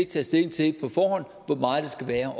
taget stilling til hvor meget det skal være